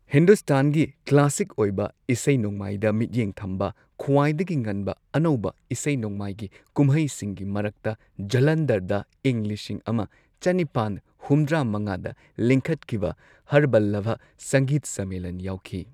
ꯍꯤꯟꯗꯨꯁꯇꯥꯟꯒꯤ classic ꯑꯣꯏꯕ ꯏꯁꯩ ꯅꯣꯡꯃꯥꯏꯗ ꯃꯤꯠꯌꯦꯡ ꯊꯝꯕ ꯈ꯭ꯋꯥꯏꯗꯒꯤ ꯉꯟꯕ ꯑꯅꯧꯕ ꯏꯁꯩ ꯅꯣꯡꯃꯥꯏꯒꯤ ꯀꯨꯝꯍꯩꯁꯤꯡꯒꯤ ꯃꯔꯛꯇ ꯖꯜꯂꯟꯙꯔꯗ ꯏꯪ ꯂꯤꯁꯤꯡ ꯑꯃ ꯆꯅꯤꯄꯥꯟ ꯍꯨꯝꯗ꯭ꯔꯥ ꯃꯉꯥꯗ ꯂꯤꯡꯈꯠꯈꯤꯕ, ꯍꯔꯕꯂꯚ ꯁꯪꯒꯤꯠ ꯁꯝꯃꯦꯂꯟ ꯌꯥꯎꯈꯤ꯫